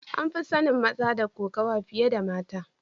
An fi sanin maza da kokawa fiye da mata.